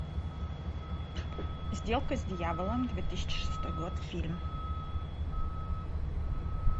сделка с дьяволом две тысячи шестой год фильм